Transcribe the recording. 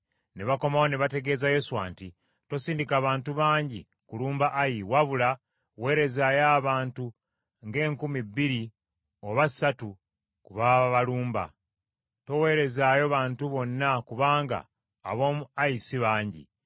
Ne bakomawo ne bategeeza Yoswa nti, “Tosindika bantu bangi kulumba Ayi wabula weerezaayo abantu nga enkumi bbiri oba ssatu be baba balumba. Toweerezaayo bantu bonna kubanga ab’omu Ayi si bangi.”